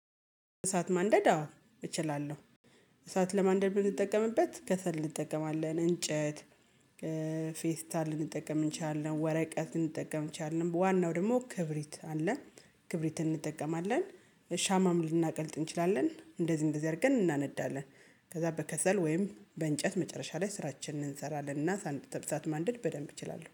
እሳት ማንደድ አዎ እችላለሁ። እሳት ለማንደድ የምንጠቀምበት ከሰል እንጠቀማለን እንጨት ፌስታል ልንጠቀም እንችላለን፣ ወረቀት ልንጠቀምን እንችላለን ዋናው ደግሞ ክብሪት አለ ክብሪትን እንጠቀማለን፣ ሻማም ልናቀልጥ እንችላለን እንደዚህ እንደዚህ አድርገን እናነዳለን ከዛ በከሰል ወይም በእንጨት መጨረሻ ላይ ስራችንን እንሰራለንና እሳት ማንደድ በደንብ እችላለሁ።